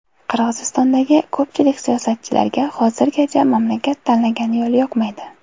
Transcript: Qirg‘izistondagi ko‘pchilik siyosatchilarga hozirgacha mamlakat tanlagan yo‘l yoqmaydi.